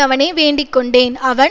அவனை வேண்டிக்கொண்டேன் அவன்